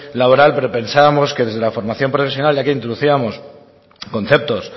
laboral pero pensábamos que desde la formación profesional ya que introducíamos conceptos